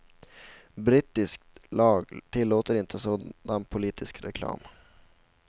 Brittisk lag tillåter inte sådan politisk reklam.